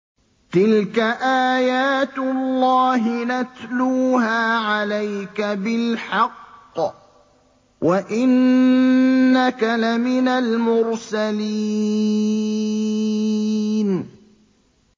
تِلْكَ آيَاتُ اللَّهِ نَتْلُوهَا عَلَيْكَ بِالْحَقِّ ۚ وَإِنَّكَ لَمِنَ الْمُرْسَلِينَ